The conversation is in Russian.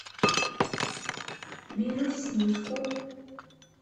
бирюсинску